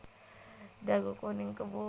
Dagu kuning kebo